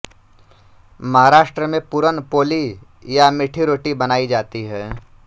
महाराष्ट्र में पूरन पोली या मीठी रोटी बनाई जाती है